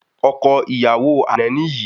Ọkọ ìyàwó àná ni yìí